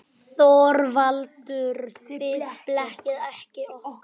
ÞORVALDUR: Þið blekkið okkur ekki.